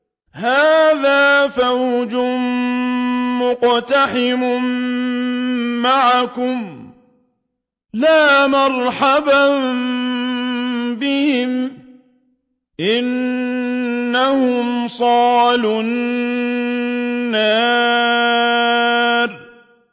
هَٰذَا فَوْجٌ مُّقْتَحِمٌ مَّعَكُمْ ۖ لَا مَرْحَبًا بِهِمْ ۚ إِنَّهُمْ صَالُو النَّارِ